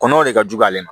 Kɔnɔw de ka jugu ale ma